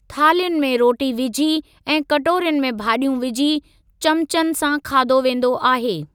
थाल्हियुनि में रोटी विझी ऐं कटोरियुनि में भाॼियूं विझी चमचनि सां खादो वेंदो आहे।